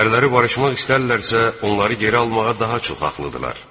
Ərləri barışmaq istərlərsə, onları geri almağa daha çox haqlıdırlar.